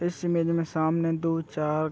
इस इमेज में सामने दो चार --